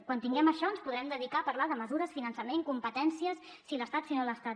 quan tinguem això ens podrem dedicar a parlar de mesures finançament competències si l’estat si no l’estat